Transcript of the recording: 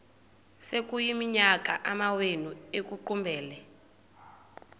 sekuyiminyaka amawenu ekuqumbele